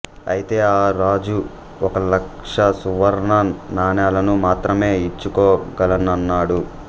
అయితే ఆ రాజు ఒక లక్ష సువర్ణ నాణేలను మాత్రమే ఇచ్చుకోగలనన్నాడు